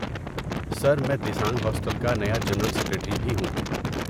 سر، میں دیسانگ ہاسٹل کا نیا جنرل سکریٹری بھی ہوں۔